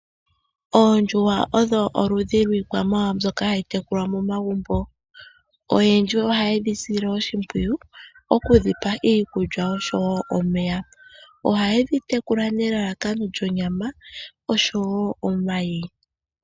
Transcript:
Oondjuhwa odho oludhi lwii kwamawawa mbyoka hayi tekulwa megumbo. Oyendji oha yedhi sile oshimpwiyu okudhipa iikulya osho wo omeya. Oha yedhi tekula nelalakano djonyama osho wo omayi.